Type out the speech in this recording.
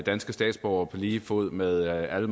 danske statsborgere på lige fod med alle